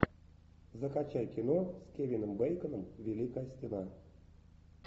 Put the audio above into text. закачай кино с кевином бейконом великая стена